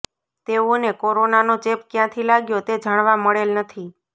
તેઓને કોરોનાનો ચેપ કયાંથી લાગ્યો તે જાણવા મળેલ નથી